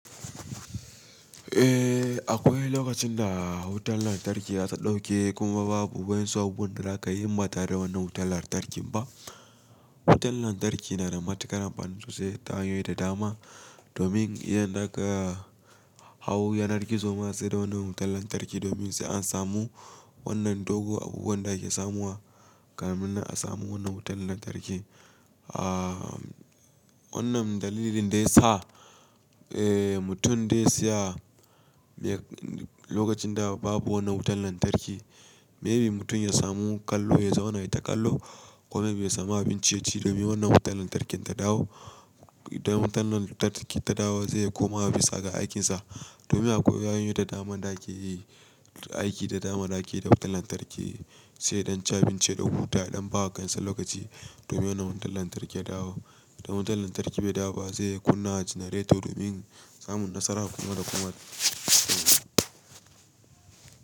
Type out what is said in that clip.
Eh, akwai lokacin da wutar lantarki za ta ɗauke kuma babu waƴansu abubuwan da za ka yi inba tare da wannan wutar lantarkin ba. Wutar lantarki na da matuƙar amfani sosai ta hanyoyi da dama domin idan za ka hau yanar gizo ma sai da wannan wutar lantarki domin sai an samu wannan dogo abubuwan da ake samuwa kafin a samu wannan wutar lantarki. Ah, wannan dalilin da ya sa, eh, mutum da ya siya lokacin da babu wannan wutar lantarki, maybe mutum ya samu kallo ya zauna ya ta kallo ko maybe ya samu abin ci ya ci domin wannan wutar lantarkin ta dawo. Dan wutar lantarki ta dawo zai koma bisa ga aikinsa domin akwai hanyoyi da dama da ake yi, aiki da dama da ake da wutar lantarki, sai dan ci abinci ya dan huta ya don bawa kansan lokaci domin wannan wutar lantarki ya dawo. Dan wutar lantarki bai dawo ba zai kunna janareto domin samun nasara kuma ya koma aiki.